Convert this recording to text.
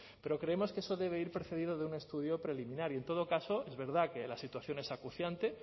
pero creemos que eso debe ir precedido de un estudio preliminar y en todo caso es verdad que la situación es acuciante